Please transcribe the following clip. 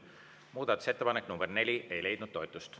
Muudatusettepanek nr 4 ei leidnud toetust.